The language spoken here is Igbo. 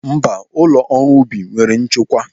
Mba, ụlọ ọrụ ubi nwere nchekwa.